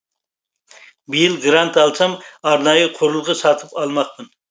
биыл грант алсам арнайы құрылғы сатып алмақпын